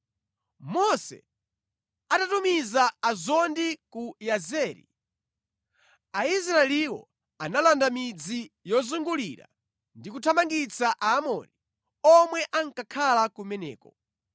Mose atatumiza azondi ku Yazeri, Aisraeliwo analanda midzi yozungulira ndi kuthamangitsa Aamori omwe ankakhala kumeneko.